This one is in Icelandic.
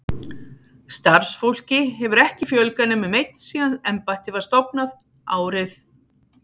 Starfsfólki hefur ekki fjölgað nema um einn síðan embættið var stofnað, árið